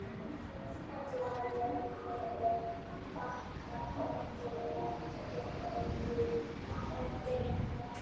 kallar Nonni og bankar óþolinmóður á dyrnar.